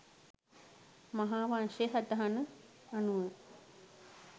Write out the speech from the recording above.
මහා වංශයේ සටහන අනුවය.